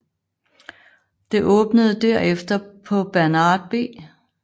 Det åbnede derefter på Bernard B